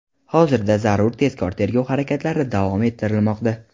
Hozirda zarur tezkor tergov harakatlari davom ettirilmoqda.